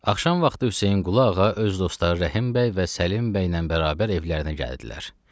Axşam vaxtı Hüseynqulu ağa öz dostları Rəhim bəy və Səlim bəylə bərabər evlərinə gəldilər.